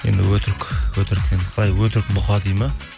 енді өтірік енді қалай өтірік бұқа дейді ме